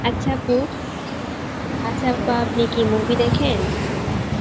আচ্ছা আপু, আচ্ছা আপা আপনি কি movieদেখেন?